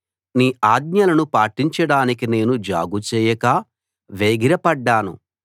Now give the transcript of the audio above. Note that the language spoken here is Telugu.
నీ ఆజ్ఞలను పాటించడానికి నేను జాగుచేయక వేగిరపడ్డాను